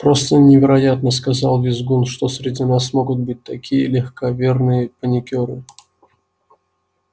просто невероятно сказал визгун что среди нас могут быть такие легковерные паникёры